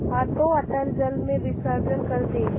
हाथों अतल जल में विसर्जन कर दे